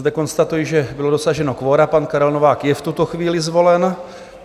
Zde konstatuji, že bylo dosaženo kvora, pan Karel Novák je v tuto chvíli zvolen.